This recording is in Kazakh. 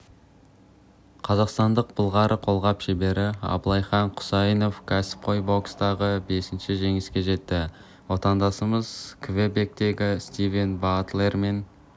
қазақстандық былғары қолғап шебері абылайхан құсайынов кәсіпқой бокстағы бесінші жеңісіне жетті отандасымыз квебектегі стивен батлер мен